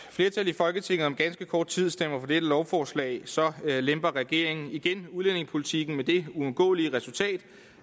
flertal i folketinget om ganske kort tid stemmer for dette lovforslag så lemper regeringen igen udlændingepolitikken med det uundgåelige resultat